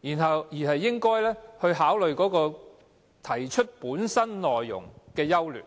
理，而是應該考慮修訂建議本身內容的優劣。